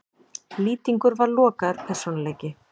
Lýtingur var lokaður persónuleiki.